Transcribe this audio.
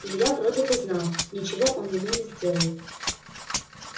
илья вроде бы знал ничего он ему не сделает